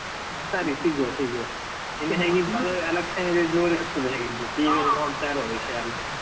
ಸರಿ ಸಿಗುವ ಸಿಗುವ ಹೇಗಿದ್ರು election ದ್ದು ಜೋರು ಇರ್ತದೆ ಹೇಗಿದ್ರು, TV ಅಲ್ಲಿ ನೋಡ್ತಾ ಇರುವ ವಿಷಯ ಎಲ್ಲ.